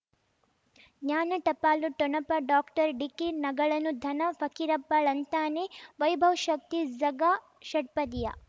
ಜ್ಞಾನ ಟಪಾಲು ಠೊಣಪ ಡಾಕ್ಟರ್ ಢಿಕ್ಕಿ ಣಗಳನು ಧನ ಫಕೀರಪ್ಪ ಳಂತಾನೆ ವೈಭವ್ ಶಕ್ತಿ ಝಗಾ ಷಟ್ಪದಿಯ